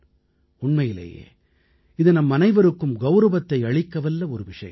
உண்மையிலேயே இது நம்மனைவருக்கும் கௌரவத்தை அளிக்கவல்ல ஒரு விஷயம்